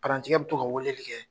Parantikɛ bɛ to ka weleli kɛ